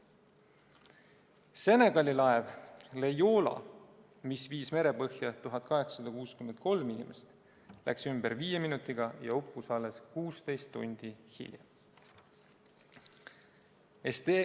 Senegali laev Joola, mis viis merepõhja 1863 inimest, läks ümber viie minutiga ja uppus alles 16 tundi hiljem.